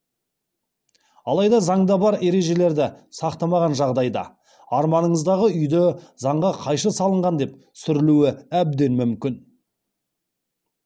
алайда заңда бар ережелерді сақтамаған жағдайда арманыңыздағы үйді заңға қайшы салынған деп сүрілуі әбден мүмкін